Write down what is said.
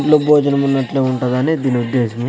విందు భోజనము ఉన్నట్లే ఉంటుందని దీని ఉద్దేశము.